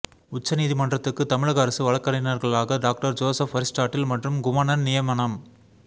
உச்சநீதிமன்றத்துக்கு தமிழக அரசு வழக்கறிஞர்களாக டாக்டர் ஜோசப் அரிஸ்டாட்டில் மற்றும் குமணன் நியமனம்